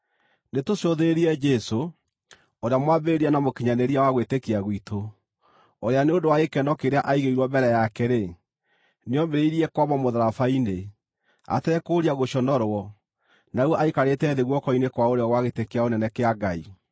Nĩtũcũthĩrĩrie Jesũ, ũrĩa mwambĩrĩria na mũkinyanĩria wa gwĩtĩkia gwitũ, ũrĩa nĩ ũndũ wa gĩkeno kĩrĩa aigĩirwo mbere yake-rĩ, nĩoomĩrĩirie kwambwo mũtharaba-inĩ, atekũũria gũconorwo, na rĩu aikarĩte thĩ guoko-inĩ kwa ũrĩo gwa gĩtĩ kĩa ũnene kĩa Ngai.